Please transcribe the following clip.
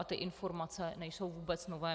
A ty informace nejsou vůbec nové.